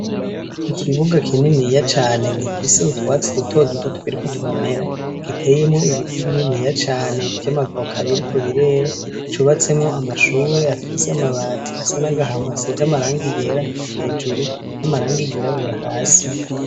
Ikibuga kininiya cane gifise utwatsi duto duto tukiriko turamera, giteyemwo ibiti bininiya cane vy'amavoka biriko birera, cubatsemwo amashure afis' amabati asana n'agahama asiz' amaranga yera hejuru n'amaranga yirabura hasi.